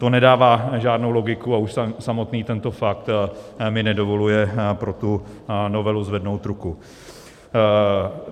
To nedává žádnou logiku a už samotný tento fakt mi nedovoluje pro tu novelu zvednout ruku.